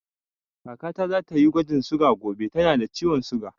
Kaka ta za ta yi gwajin suga gobe, ta na da ciwon suga